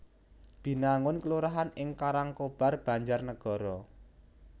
Binangun kelurahan ing Karangkobar Banjarnegara